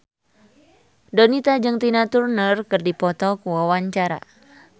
Donita jeung Tina Turner keur dipoto ku wartawan